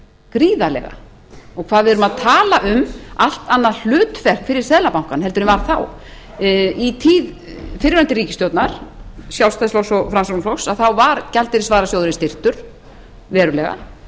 gríðarlega og hvað við erum að tala um allt annað hlutverk fyrir seðlabankann heldur en var þá í tíð fyrrverandi ríkisstjórnar sjálfstæðisflokks og framsóknarflokks þá var gjaldeyrisvarasjóðurinn styrktur verulega